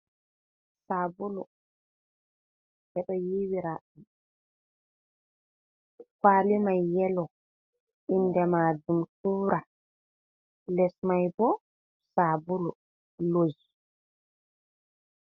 Sabulu ɓeɗo yiwiraɗi kwali mai yelo inde mai tura, les mai bo sabulu lus.